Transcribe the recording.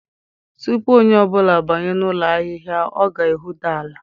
Tupu onye ọ bụla abanye n'ụlọ ahịhịa, ọ ga-ehuda ala